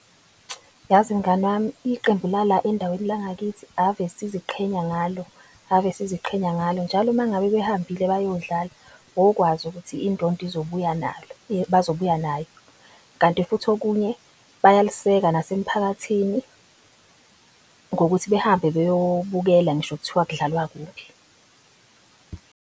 Yazi mngani wami, iqembu lala endaweni la ngakithi ave siziqhenya ngalo ave siziqhenya ngalo. Njalo mengabe behambile, bayodlala wokwazi ukuthi indondo izobuya , bazobuya nayo. Kanti futhi okunye bayaliseka nasemphakathini ngokuthi behambe beyobukela ngisho kuthiwa kudlalwa kuphi.